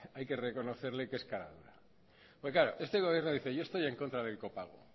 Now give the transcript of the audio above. hay que reconocerle que es caradura porque claro este gobierno dice yo estoy en contra del copago